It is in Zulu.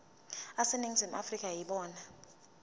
aseningizimu afrika yibona